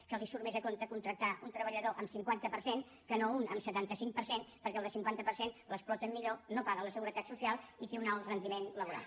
que els surt més a compte contractar un treballador amb cinquanta per cent que no un amb setanta cinc per cent perquè al de cinquanta per cent l’exploten millor no paga la seguretat social i té un alt rendiment laboral